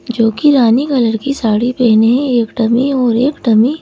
जो कि रानी कलर की साड़ी पहनी है एक डममी और एक डमी --